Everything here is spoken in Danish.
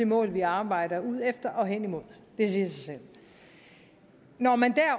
mål vi arbejder hen imod det siger sig selv når man